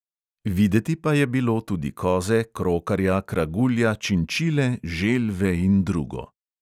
Videti pa je bilo tudi koze, krokarja, kragulja, činčile, želve in drugo.